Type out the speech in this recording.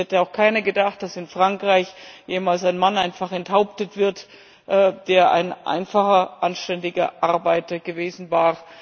Es hätte auch keiner gedacht, dass in Frankreich jemals ein Mann einfach enthauptet wird, der ein einfacher, anständiger Arbeiter gewesen war.